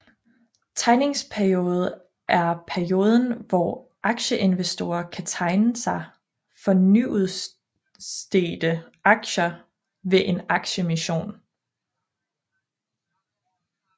Tegningspeoriode er perioden hvor aktieinvestorer kan tegne sig for nyudstedte aktier ved en aktieemission